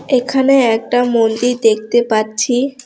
এখানে একটা মন্দির দেখতে পাচ্ছি।